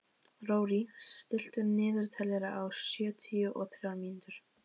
Rorí, stilltu niðurteljara á sjötíu og þrjár mínútur.